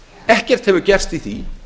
ekkert hefur gerst í því